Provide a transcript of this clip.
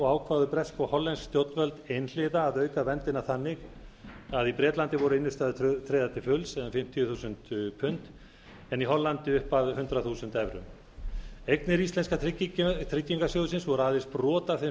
ákváðu bresk og hollensk stjórnvöld einhliða að auka verndina þannig að í bretlandi voru innstæður tryggðar til fulls um fimmtíu þúsund pund en í hollandi upp að hundrað þúsund evrum eignir íslenska tryggingarsjóðsins voru aðeins brot af þeim